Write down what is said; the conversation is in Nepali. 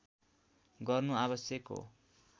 गर्नु आवश्यक हो